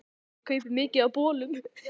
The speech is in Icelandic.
Ég kaupi mikið af bolum.